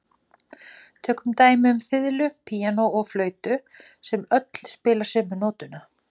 Tökum dæmi um fiðlu, píanó og flautu sem öll spila sömu nótuna.